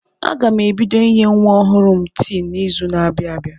Aga m ebido inye nwa ọhụrụ m tii n'izu na-abịa abịa.